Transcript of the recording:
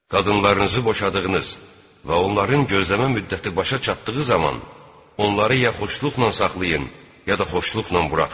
Qadınlarınızı boşadığınız və onların gözləmə müddəti başa çatdığı zaman onları ya xoşluqla saxlayın, ya da xoşluqla buraxın.